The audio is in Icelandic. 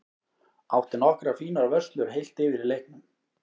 Átti nokkrar fínar vörslur heilt yfir í leiknum.